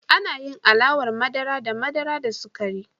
Ana yin alawar madara da madara da sukari.